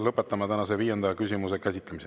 Lõpetame tänase viienda küsimuse käsitlemise.